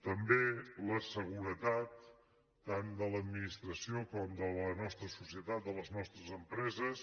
també la seguretat tant de l’administració com de la nostra societat de les nostres empreses